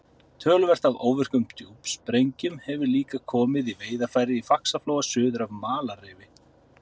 Töluvert af óvirkum djúpsprengjum hefur líka komið í veiðarfæri í Faxaflóa suður af Malarrifi.